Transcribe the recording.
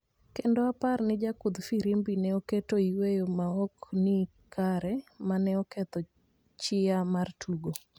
kendo aparo ni jakudh firimbi ne oketo yweyo ma ok ni kare mane oketho chiya mar tugo